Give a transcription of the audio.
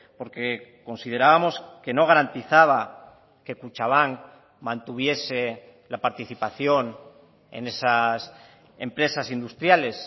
porque considerábamos que no garantizaba que kutxabank mantuviese la participación en esas empresas industriales